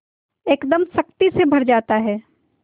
एकदम शक्ति से भर जाता है